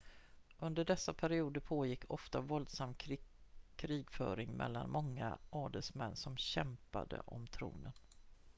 under dessa perioder pågick ofta våldsam krigföring mellan många adelsmän som kämpade om tronen